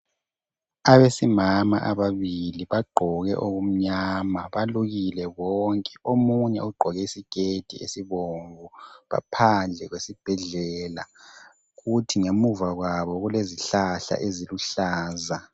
Abesimama ababili bagqoke okumnyama balukile bonke omunye ugqoke isiketi esibomvu baphandle kwesibhedlela kuthi ngemuva kwabo kulezihlahla eziluhlaza.